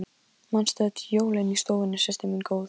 Otkell, spilaðu lagið „Leyndarmál frægðarinnar“.